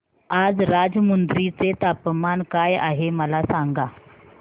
आज राजमुंद्री चे तापमान काय आहे मला सांगा